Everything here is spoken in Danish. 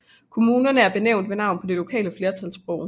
Kommunerne er benævnt ved navn på det lokale flertalssprog